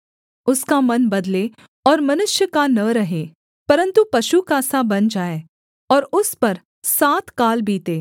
उसका मन बदले और मनुष्य का न रहे परन्तु पशु का सा बन जाए और उस पर सात काल बीतें